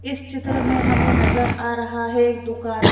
इस चित्र में हमें नजर आ रहा है एक दुकान--